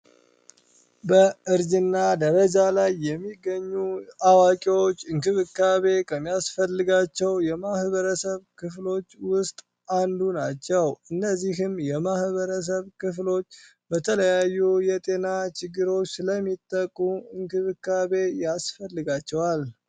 በእርግዝና ደረጃ ላይ የሚገኙ አዋቂዎች እንቅብካቤ ከሚያስፈልጋቸው የማህበረሰብ ክፍሎቹ ውስጥ አንዱ ናቸው እነዚህም የማህበረሰብ ክፍሎች በተለያዩ ችግሮች ላይ ሚጠቁ እንክብካቤ ያስፈልጋቸዋል